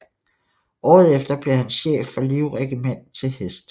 Året efter blev han chef for Livregiment til hest